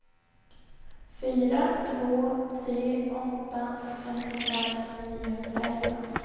fyra två tre åtta femtiofem niohundraelva